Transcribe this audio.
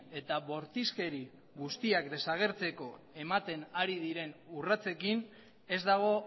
eta bortizkeri guztiak desagertzeko ematen ari diren urratsekin ez dago